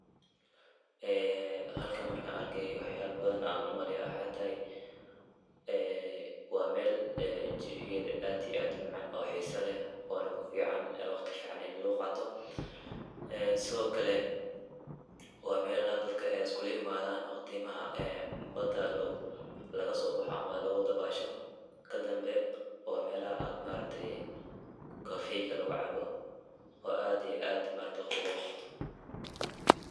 Ee halkan markan arkay waxyala badan ayan u maleyaa waxe tahay waa mel ee jawigeeda aad iyo aad u macaan oo xiisa leh oona ku fican waqti fican in lagu qaato ee sidokale waa melaha dadka iskugu imaadan waqtimaha ee bada lagasobaxa ama lagu dabasho kadambe waa melaha aad ma aragtay kafeyga lagu cabo oo aad iyo aad ma aragte waqti lagu qato.